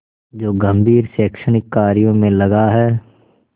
जो गंभीर शैक्षणिक कार्यों में लगा है